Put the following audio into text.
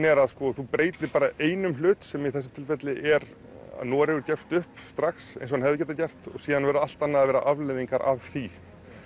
er að þú breytir bara einum hlut sem í þessu tilfelli er að Noregur gefst upp strax eins og hann hefði getað gert og síðan verður allt að vera afleiðingar af því